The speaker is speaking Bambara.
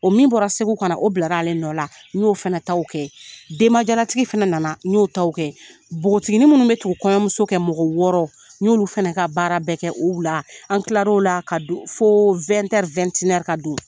O min bɔra Segu ka na na u bilara ale nɔ la n y'o fana taw kɛ denbajalatigi fana na na n y'o taw kɛ nbogotiginin minnu bɛ tugu kɔɲɔmuso kɔ mɔgɔ wɔɔrɔ n y'olu fana ka baara bɛɛ kɛ o wula an tilara o la ka don fo